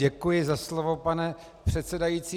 Děkuji za slovo, pane předsedající.